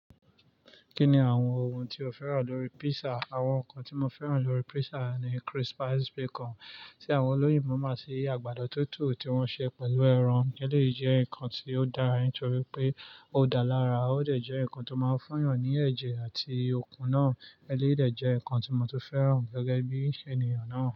Kí ni àwọn ohun tí o fẹ́ràn lórí pizza? Àwọn nǹkan tí mo fẹ́ràn lórí pizza ni crispy bacon, tí àwọn olóyè máa ń máa ṣe àgbàdo tútù tí wọ́n ṣe pẹ̀lú ẹran. Elèyi jẹ́ nǹkan tí ó dára nítorí pé ó dá lára. Ó dẹ̀ jẹ́ nǹkan tó máa ń fún èèyàn ní ẹ̀jẹ̀ àti okun náà. Eleyii dẹ̀ je nǹkan tí mo tun fẹ́ràn gẹ́gẹ́ bí ènìyàn náà.